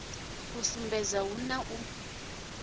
i sumbedza hu na u